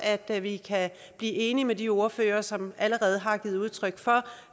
at vi kan blive enige med de ordførere som allerede har givet udtryk for